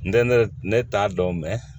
N tɛ ne t'a dɔn mɛ